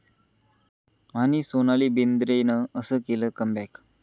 ...आणि सोनाली बेंद्रेनं असं केलं 'कम बॅक'